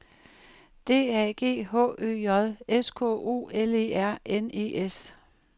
D A G H Ø J S K O L E R N E S